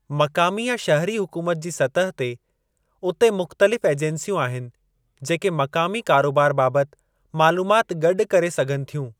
मक़ामी या शहरी हुकूमत जी सतह ते, उते मुख़्तलिफ़ ऐजंसियूं आहिनि जेके मक़ामी कारोबार बाबति मालूमात गॾु करे सघनि थियूं।